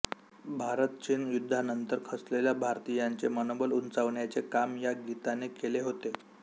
भारतचीन युद्धानंतर खचलेल्या भारतीयांचे मनोबल उंचावण्याचे काम या गीताने केले होते